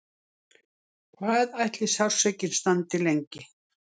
Hvað ætli sársaukinn standi lengi?